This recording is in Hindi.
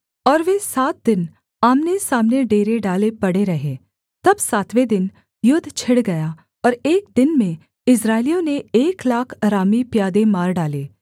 और वे सात दिन आमनेसामने डेरे डाले पड़े रहे तब सातवें दिन युद्ध छिड़ गया और एक दिन में इस्राएलियों ने एक लाख अरामी प्यादे मार डाले